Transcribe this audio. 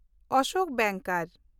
Ashok Bengkar